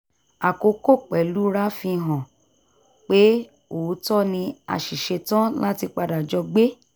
akókò pẹ̀lúra fi hàn pé òótọ́ ni a sì ṣetán láti padà jọ gbé